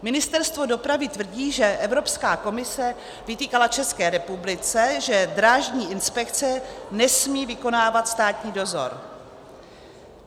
Ministerstvo dopravy tvrdí, že Evropská komise vytýkala České republice, že Drážní inspekce nesmí vykonávat státní dozor.